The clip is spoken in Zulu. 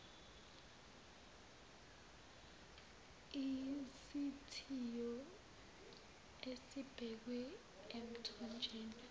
isithiyo esibekwe emthonjeni